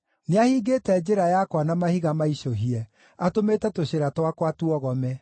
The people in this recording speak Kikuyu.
Nĩahingĩte njĩra yakwa na mahiga maicũhie; atũmĩte tũcĩra twakwa tuogome.